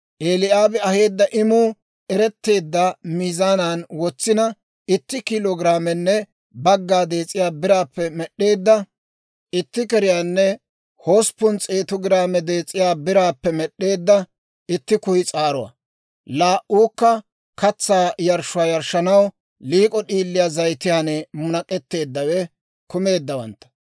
Eli'aabi aheedda imuu eretteedda miizaanan wotsina, itti kiilo giraamenne bagga dees'iyaa biraappe med'd'eedda itti keriyaanne hosppun s'eetu giraame dees'iyaa biraappe med'd'eedda itti kuyis'aaruwaa, laa"uukka katsaa yarshshuwaa yarshshanaw liik'o d'iilii zayitiyaan munak'k'eteeddawe kumeeddawantta;